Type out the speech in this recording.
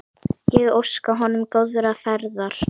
Ég óska honum góðrar ferðar.